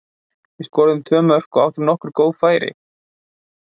Við skoruðum tvö mörk og áttum nokkur góð færi.